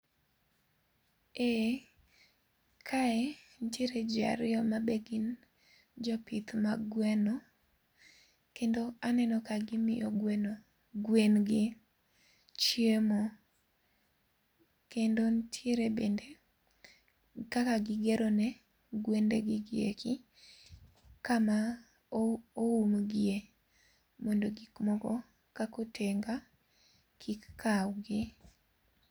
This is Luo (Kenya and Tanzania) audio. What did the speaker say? Ee kae nitie ji ariyo ma be gin jopith mag gweno. Kendo aneno ka gimiyo gweno gwen gi chiemo kendo nitiere bende kaka gigerone gwendegigi eki kama oumgie mondo gik moko kaka otenga kik kawgi